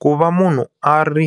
Ku va munhu a ri